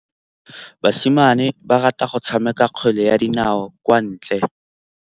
Basimane ba rata go tshameka kgwele ya dinaô kwa ntle.